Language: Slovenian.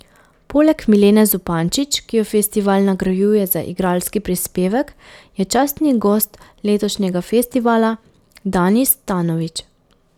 Poleg Milene Zupančič, ki jo festival nagrajuje za igralski prispevek, je častni gost letošnjega festivala Danis Tanović.